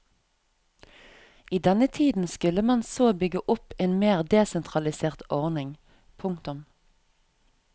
I denne tiden skulle man så bygge opp en mer desentralisert ordning. punktum